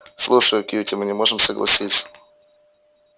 слушай кьюти мы не можем согласиться